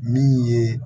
Min ye